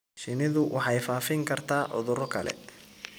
Shinnidu waxay faafin kartaa cudurro kale.